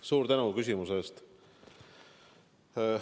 Suur tänu küsimuse eest!